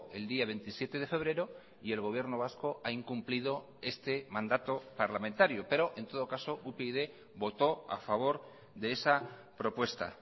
el día veintisiete de febrero y el gobierno vasco ha incumplido este mandato parlamentario pero en todo caso upyd votó a favor de esa propuesta